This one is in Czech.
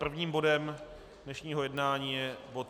Prvním bodem dnešního jednání je bod